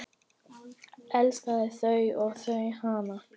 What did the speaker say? Elskaði þau og þau hann.